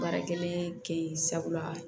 Baarakɛden kɛ yen sabula